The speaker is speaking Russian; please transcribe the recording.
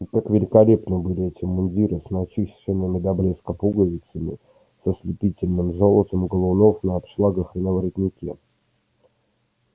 и как великолепны были эти мундиры с начищенными до блеска пуговицами с ослепительным золотом галунов на обшлагах и на воротнике